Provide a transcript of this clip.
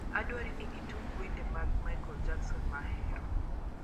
adwarini itug wende mag michael jackson mahero